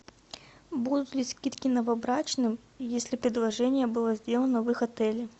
будут ли скидки новобрачным если предложение было сделано в их отеле